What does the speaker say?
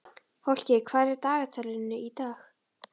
Fálki, hvað er í dagatalinu í dag?